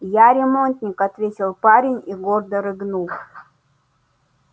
я ремонтник ответил парень и гордо рыгнул